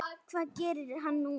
Hvað gerir hann núna?